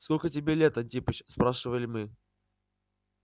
сколько тебе лет антипыч спрашивали мы